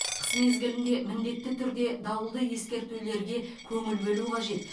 қыс мезгілінде міндетті түрде дауылды ескертулерге көңіл бөлу қажет